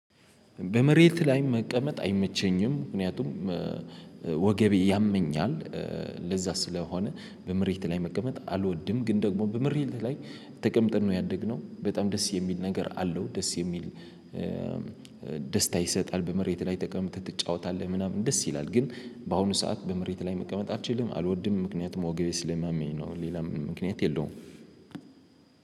በመሬት ላይ መቀመጥ አይመቸኝም ምክንያቱም ወገቤ ያመኛል። ለዛ ስለሆነ በምሬት ላይ መቀመጥ አልወድም። ግን ደግሞ በምሬት ላይ ተቀምጠን ነው ያደግነው በጣም ደስ የሚል ነገር አለው። ደስ የሚል ደስታ ይሰጣል። በመሬት ላይ ተቀምጠህ ትጫወታለህ ምናምን ደስ ይላል። ግን በአሁኑ ሰዓት በመሬት ላይ መቀመጥ አትችልም አልወድም ምክንያቱም ወገቤ ስለማመኝ ነው። ሌላ ምክንያት የለውም።